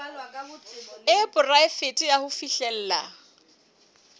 e poraefete ya ho fihlella